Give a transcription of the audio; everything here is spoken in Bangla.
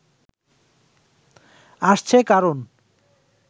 আসছে, কারণ